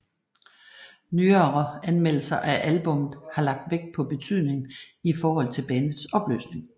Nyere anmeldelser af albummet har lagt vægt på betydningen i forhold til bandets opløsning